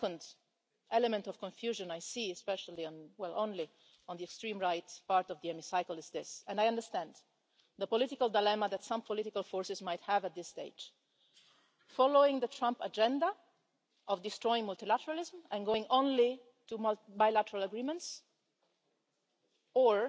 The second element of confusion I see especially well, only on the extreme right part of the Chamber is this and I understand the political dilemma that some political forces might have at this stage, namely following the Trump agenda of destroying multilateralism and going only to bilateral agreements